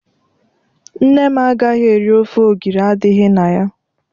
Nne m agaghị eri ofe ogiri adịghị na ya.